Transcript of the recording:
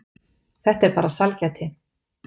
Þetta er bara sælgæti.